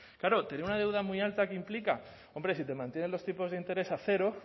claro tener una deuda muy alta qué implica hombre si te mantienen los tipos de interés a cero